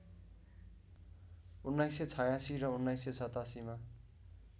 १९८६ र १९८७ मा